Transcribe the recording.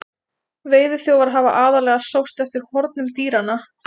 veiðiþjófar hafa aðallega sóst eftir hornum dýranna